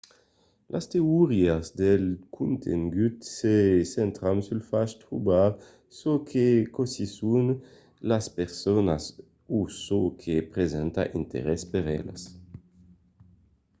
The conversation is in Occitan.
las teorias del contengut se centran sul fach de trobar çò que causisson las personas o çò que presenta d'interès per elas